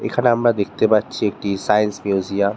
এখানে আমরা দেখতে পাচ্ছি একটি সাইন্স মিউসিয়াম-- ।